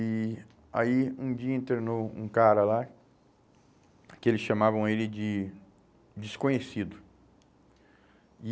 E aí um dia internou um cara lá, que eles chamavam ele de desconhecido. E